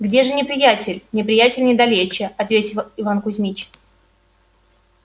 где же неприятель неприятель недалече ответил иван кузмич